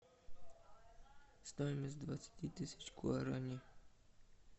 стоимость двадцати тысяч гуарани